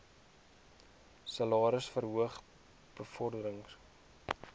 salaris verhogings bevordering